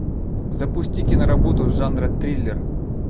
запусти киноработу жанра триллер